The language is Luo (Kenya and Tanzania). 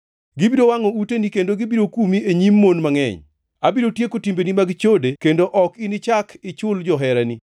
Gibiro wangʼo uteni kendo gibiro kumi e nyim mon mangʼeny. Abiro tieko timbegi mag chode kendo ok inichak ichul joherani.